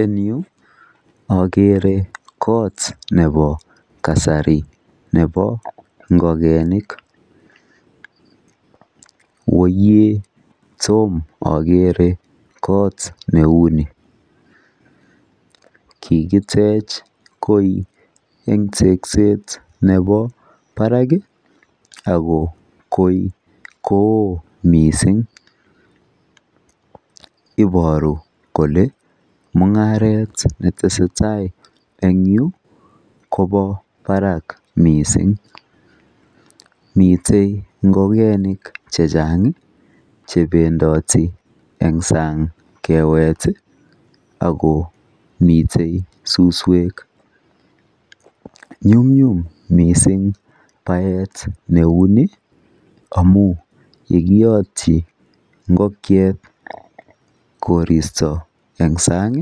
En yuu okere kot nebo kasari nebo ingokenik woyee tom okere kot neuni, kikitech koi en tekset nebo barak kii ako koi kowoo missing iboru kole mungaret netesetai en yuu Kobo barak missing, miten ngokenik chechang chependii en sang kewet tii ak komiten suswek nyumnyum missing naet neuni amun yekiyotyi ingokiet koristo en sang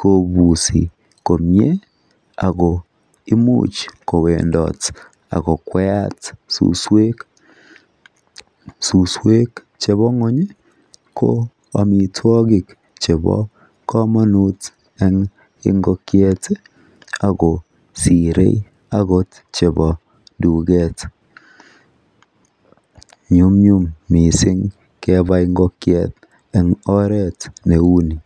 kobusi komie ak ko imuch mowendot ak kokwayat suswek chebo ngwonyi ko omitwokik chebo komonut en ingokiet tii ako sire okot chebi tuket, nyumnyum missing kebai ingokiet en oret neuni.